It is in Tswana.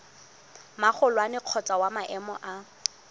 magolwane kgotsa wa maemo a